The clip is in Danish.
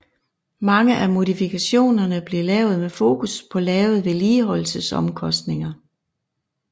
Mange af modifikationerne blev lavet med fokus på lave vedligeholdelsesomkostninger